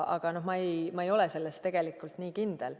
Aga ma ei ole selles nii kindel.